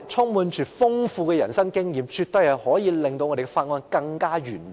他們豐富的人生經驗，絕對可以令法案的審議更完美。